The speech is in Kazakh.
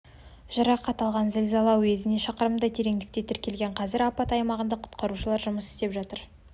жарақат алған зілзала цзючжайгоу уезінде шақырымдай тереңдікте тіркелген қазір апат аймағында құтқарушылар жұмыс істеп жатыр